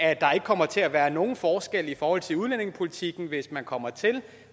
kommer til at være nogen forskelle i forhold til udlændingepolitikken hvis man kommer til